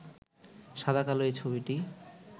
সাদা-কালো এই ছবিটি